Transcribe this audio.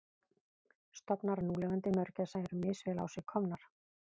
Stofnar núlifandi mörgæsa eru misvel á sig komnir.